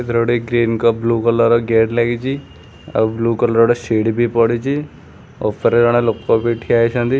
ଏଥିରେ ଗୋଟେ ଗ୍ରୀନ କ ବ୍ଲୁ କଲର ର ଗେଟ୍ ଲାଗିଚି ଆଉ ବ୍ଲୁ କଲର୍ ର ଗୋଟେ ସିଡ଼ି ବି ପଡ଼ିଚି ଓପରେ ଜଣେ ଲୋକ ବି ଠିଆ ହେଇଛନ୍ତି।